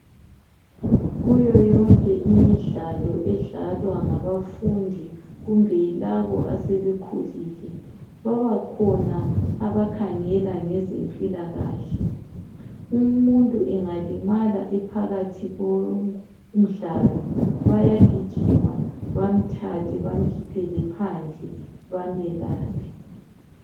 Kuyoyonke imidlalo edlalwa ngabafundi laba asebekhulile kubakhona abakhangela ngezempilakahle. Umuntu ngalimala ephakathi komdlalo bayagijima bamthathe bamkhiphele phandle bamelaphe.